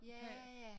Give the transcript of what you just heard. Ja ja